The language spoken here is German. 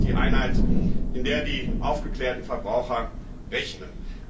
Kalorien sind die Einheit, in der die aufgeklärten Verbraucher rechnen.